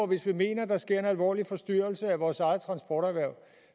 hvis vi mener at der sker en alvorlig forstyrrelse i forhold til vores eget transporterhverv